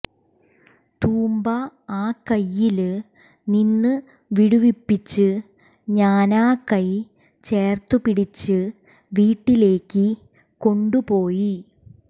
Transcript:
തൂമ്പ ആ കയ്യില് നിന്ന് വിടുവിപ്പിച്ച് ഞാനാ കൈ ചേര്ത്ത് പിടിച്ച് വീട്ടിലേക്ക് കൊണ്ട് പോയി